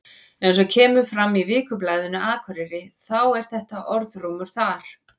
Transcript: Eins og kemur fram í Vikublaðinu Akureyri þá er þetta orðrómur þar.